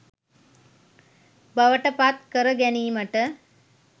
බවට පත් කරගැනීමට